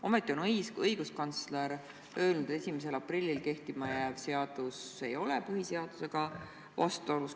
Ometi on õiguskantsler öelnud, 1. aprillil kehtima hakkav seadus ei ole põhiseadusega vastuolus.